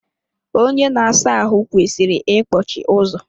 Onye na asa ahụ kwesịrị ikpọchi ụzọ.